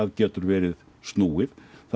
getur verið snúið